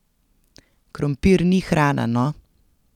Krompir ni hrana, no!